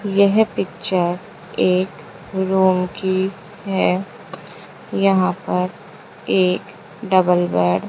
यह पिक्चर एक रूम की है यहां पर एक डबल बेड --